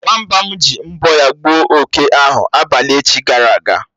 Nwamba m ji mbọ̀ ya gbuo oké ahụ abalị echi gara aga.